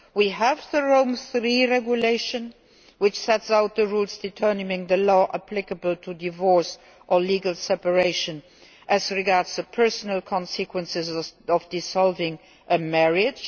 we have the Rome III Regulation, which sets out the rules determining the law applicable to divorce or legal separation as regards the personal consequences of dissolving a marriage